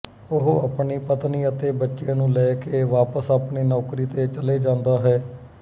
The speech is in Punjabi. ਉਹ ਆਪਣੀ ਪਤਨੀ ਅਤੇ ਬੱਚੇ ਨੂੰ ਲੈ ਕੇ ਵਾਪਸ ਆਪਣੀ ਨੌਕਰੀ ਤੇ ਚਲੇ ਜਾਂਦਾ ਹੈ